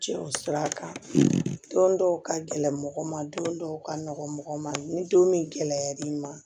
Cɛw sir'a kan don dɔw ka gɛlɛ mɔgɔ ma don dɔw ka nɔgɔ mɔgɔ ma ni don min gɛlɛyar'i ma